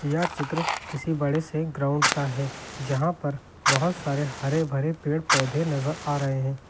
यह चित्र किसी बड़े से ग्राउंड का है जहां पर बहुत सारे हरे भरे पेड़ पौधे नजर आ रहे हैं।